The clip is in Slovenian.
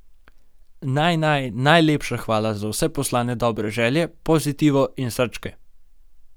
Naj naj najlepša hvala za vse poslane dobre želje, pozitivo in srčke!